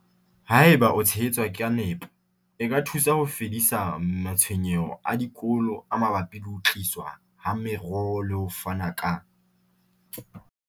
Haeba e tshehetswa ka nepo, e ka thusa ho fedisa matshwenyeho a dikolo a mabapi le ho tliswa ha meroho le ho fana ka